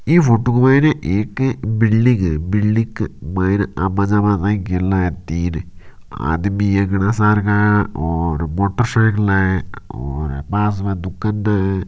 इ फोटो माइने एक अ बिल्डिंग है बिल्डिंग के माइने आबा जाबा गेला है आदमी है गना सार का और मोटर साइकल है और पास में दुकान है।